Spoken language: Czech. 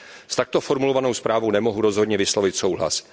S takto formulovanou zprávou nemohu rozhodně vyslovit souhlas.